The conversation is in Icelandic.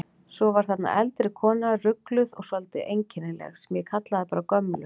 Svo var þarna eldri kona, rugluð og svolítið einkennileg, sem ég kallaði bara gömlu.